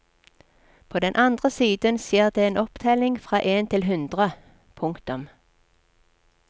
På den andre siden skjer det en opptelling fra en til hundre. punktum